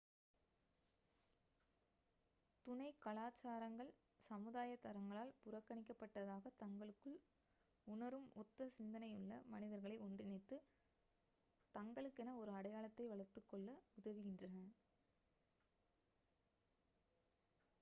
துணை கலாச்சாரங்கள் சமுதாய தரங்களால் புறக்கணிக்கப்பட்டதாக தங்களுக்குள் உணரும் ஒத்த சிந்தனையுள்ள மனிதர்களை ஒன்றிணைத்து தங்களுக்கென ஒரு அடையாளத்தை வளர்த்துக்கொள்ள உதவுகின்றன